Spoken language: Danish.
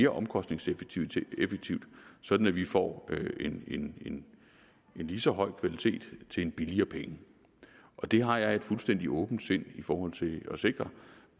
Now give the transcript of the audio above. omkostningseffektivt sådan at vi får en lige så høj kvalitet til en billigere penge det har jeg et fuldstændig åbent sind i forhold til at sikre